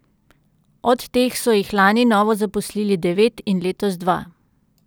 Od teh so jih lani novo zaposlili devet in letos dva.